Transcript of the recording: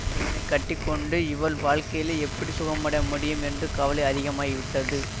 இவனை கட்டி கொண்டு இவள் வாழ்க்கையிலே எப்படி சுகமடய முடியும் என்ற கவலை அதிகமாகிவிட்டது